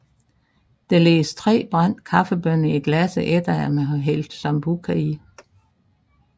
Der lægges tre brændte kaffebønner i glasset efter at man har hældt Sambuca i